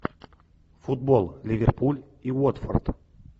футбол ливерпуль и уотфорд